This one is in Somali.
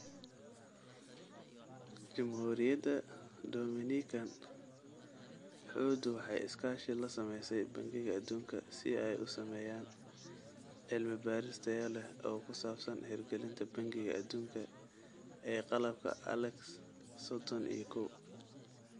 Jamhuuriyadda Dominican, xuddu waxay iskaashi la samaysay Bangiga Adduunka si ay u sameeyaan cilmi-baaris tayo leh oo ku saabsan hirgelinta Bangiga Adduunka ee qalabka ALEKS sodhon iyo koow